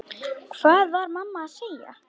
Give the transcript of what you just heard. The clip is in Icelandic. Hvað var mamma að segja?